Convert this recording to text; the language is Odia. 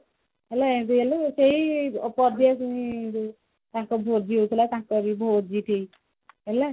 ହେଲି ଏନ୍ତି ହେଲି ରୋଷେଇ କରି ଦେଇଛି ମୁଁ ତାଙ୍କ ଭୋଜି ହଉଥିଲା ତାଙ୍କରି ଭୋଜି ହେଲା